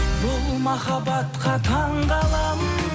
бұл махабатқа таңғаламын